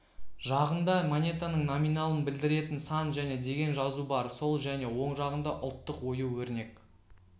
жағында монетаның номиналын білдіретін сан және деген жазу бар сол және оң жағында ұлттық ою-өрнек